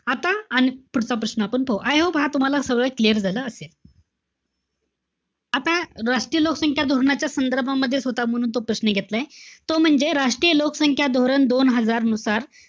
अन पुढचा प्रश्न आपण पाहू. I hope हा तुम्हाला सगळं clear झालं असेल. आता, राष्ट्रीय लोकसंख्या धोरणाच्या संदर्भामध्येच होता म्हणून तो प्रश्न घेतलाय. तो म्हणजे राष्ट्रीय लोकसंख्या धोरण दोन हजार नुसार,